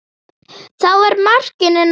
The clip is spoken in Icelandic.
Þá var markinu náð.